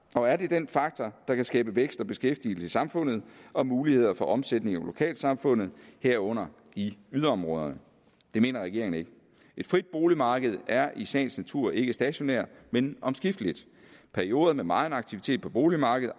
og er det den faktor der kan skabe vækst og beskæftigelse i samfundet og muligheder for omsætning i lokalsamfundet herunder i yderområderne det mener regeringen ikke et frit boligmarked er i sagens natur ikke stationært men omskifteligt perioder med megen aktivitet på boligmarkedet